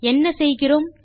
என்ன செய்கிறோம்